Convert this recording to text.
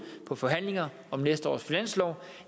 på forhandlinger om næste års finanslov